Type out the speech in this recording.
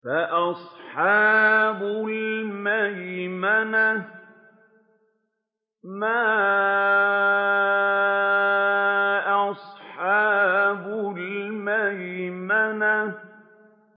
فَأَصْحَابُ الْمَيْمَنَةِ مَا أَصْحَابُ الْمَيْمَنَةِ